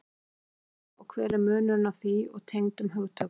Hvað er heilkenni og hver er munurinn á því og tengdum hugtökum?